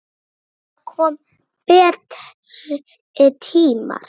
Það koma betri tímar.